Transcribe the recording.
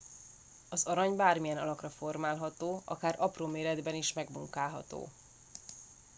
az arany bármilyen alakra formálható akár apró méretben is megmunkálható